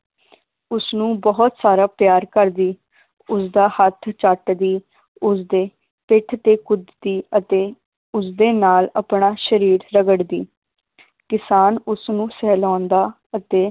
ਉਸਨੂੰ ਬਹੁਤ ਸਾਰਾ ਪਿਆਰ ਕਰਦੀ ਉਸਦਾ ਹੱਥ ਚੱਟਦੀ ਉਸਦੇ ਪਿੱਠ ਤੇ ਕੁੱਦਦੀ ਅਤੇ ਉਸਦੇ ਨਾਲ ਆਪਣਾ ਸ਼ਰੀਰ ਰਗੜਦੀ ਕਿਸਾਨ ਉਸਨੂੰ ਸਹਿਲਾਉਂਦਾ ਅਤੇ